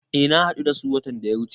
Eh na hadu da su watan da ya wuche.